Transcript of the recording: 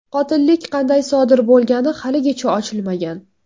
Qotillik qanday sodir bo‘lgani haligacha ochilmagan.